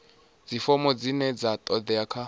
dzifomo dzine dza todea kha